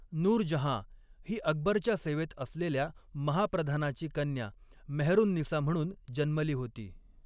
नूरजहाँ ही अकबरच्या सेवेत असलेल्या महाप्रधानाची कन्या मेहरुन्निसा म्हणून जन्मली होती.